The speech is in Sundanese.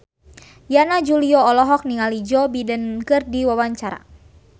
Yana Julio olohok ningali Joe Biden keur diwawancara